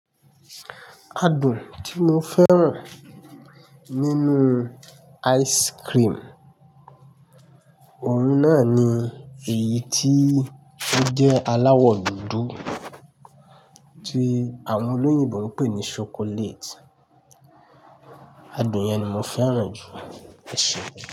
Adùn tí mo fẹ́ràn nínú ice cream, òun náà ni èyí tí ó jẹ́ aláwọ̀ dúdú tí àwọn olóyìnbo ń pè ní chocolate. Adùn yẹn ni mo fẹ́ràn jù, ẹ ṣe?